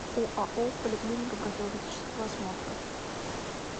оао поликлиника профилактического осмотра